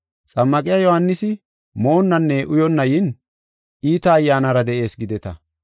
Xammaqiya Yohaanisi moonnanne uyonna yin, ‘Iita ayyaanara de7ees gideta.’